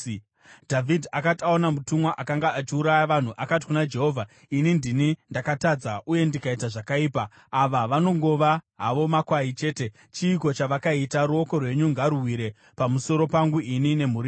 Dhavhidhi akati aona mutumwa akanga achiuraya vanhu, akati kuna Jehovha, “Ini ndini ndakatadza uye ndikaita zvakaipa. Ava vanongova havo makwai chete. Chiiko chavakaita? Ruoko rwenyu ngaruwire pamusoro pangu ini nemhuri yangu.”